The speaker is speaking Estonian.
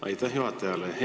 Aitäh juhatajale!